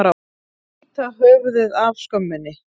Að bíta höfuðið af skömminni